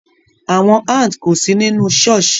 Awọn ants ko si ninu churh